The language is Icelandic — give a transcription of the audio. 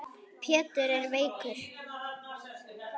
Pétur er veikur.